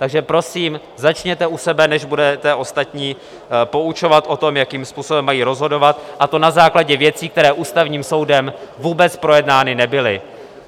Takže prosím začněte u sebe, než budete ostatní poučovat o tom, jakým způsobem mají rozhodovat, a to na základě věcí, které Ústavním soudem vůbec projednány nebyly.